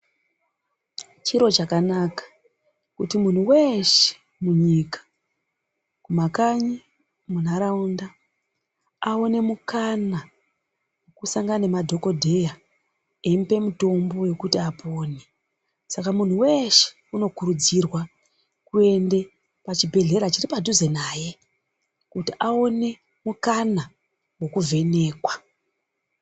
Chiro chakanaka kuti munhu weshe munyika. Kumakanyi, munharaunda aone mukana wekusangana nemadhokodheya eimupe mitombo yekuti apone Saka munhu weshe unokurudzirwa kuti aende kuchibhehlera chiri padhuze naye kuti aone mukana wekuvhenekwa.